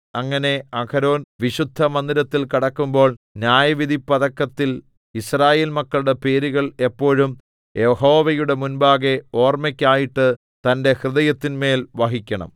അങ്ങനെ അഹരോൻ വിശുദ്ധമന്ദിരത്തിൽ കടക്കുമ്പോൾ ന്യായവിധിപ്പതക്കത്തിൽ യിസ്രായേൽ മക്കളുടെ പേരുകൾ എപ്പോഴും യഹോവയുടെ മുമ്പാകെ ഓർമ്മയ്ക്കായിട്ട് തന്റെ ഹൃദയത്തിന്മേൽ വഹിക്കണം